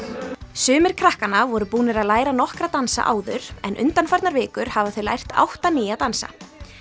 sumir krakkanna voru búnar að læra nokkra dansa áður en undanfarnar vikur hafa þau lært átta nýja dansa